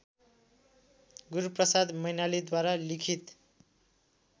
गुरूप्रसाद मैनालीद्वारा लिखित